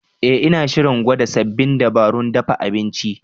Eh, Ina shirin gwada sabbin dabarun dafa abinci.